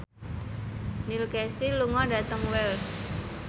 Neil Casey lunga dhateng Wells